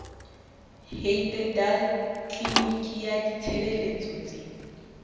heidedal tliliniki ya ditshebeletso tse